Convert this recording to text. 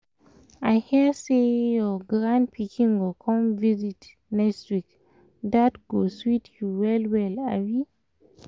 i hear say your grand pikin go come visit next week — that go sweet you well well abi?